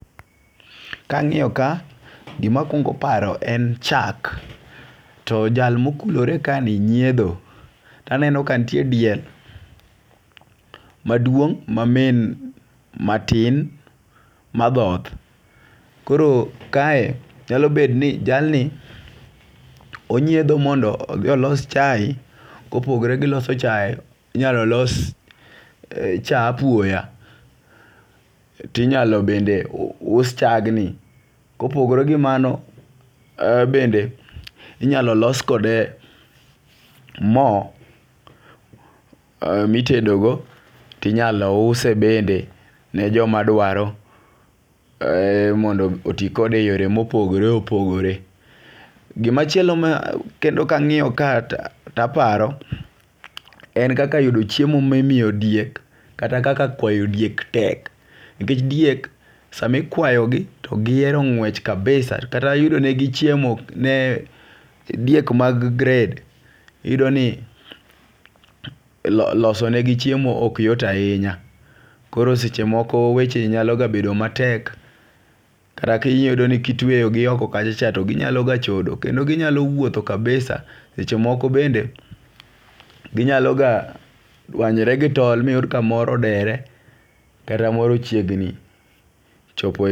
Kang'iyo ka gima kwongo paro en chak .To jal mokulore kae ni nyiedho taneno ka ntie diel maduong' ma min matin madhoth. Koro kae nyalo bet ni jal ni onyiedho mondo odhi olos chai. Kopogore gi loso chai inyalo los cha apuoya . Tinyalo bende us us chag ni kopogre gi mano bende inyalo los kode moo mitedo go, tinyalo use bende ne joma dwaro mondo otii kode e yore mopogore opogore . Gimachielo ma kendo kang'iyo ka taparo en kaka yudo chiemo mimiyo diek kata kaka kwayo diek tek ,nikech diek sama ikwayo gi to gihero ng'wech kabisa kata yudo ne gi chiemo diek ma gred, iyud ni loso ne gi chiemo ok yot ahinya. Koro seche moko weche nyalo ga bedo matek kata iyudo ka itweyo gi oko kacha cha to ginyalo ga chodo kendo ginyalo wuotho kabisa . Seche moko bende ginyalo ga dwanyre gi tol miyud ka moro odere kata koro ochiegni chopo